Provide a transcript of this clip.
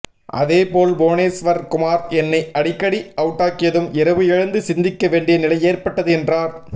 அதேபோல் புவனேஷ்வர் குமார் என்னை அடிக்கடி அவுட்டாக்கியதும் இரவு எழுந்து சிந்திக்க வேண்டிய நிலை ஏற்பட்டது என்றார்